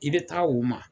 I bɛ taa u ma